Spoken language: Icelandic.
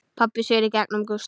Pabbi sér í gegnum Gústa.